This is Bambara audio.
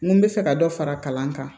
N ko n bɛ fɛ ka dɔ fara kalan kan